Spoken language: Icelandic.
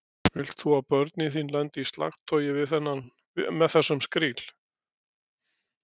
Vilt þú að börnin þín lendi í slagtogi með þessum skríl?